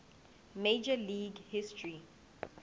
major league history